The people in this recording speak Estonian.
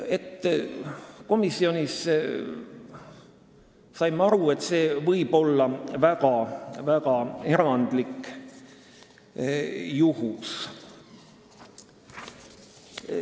Me saime komisjonis aru, et see saab olla ainult väga erandlik juhtum.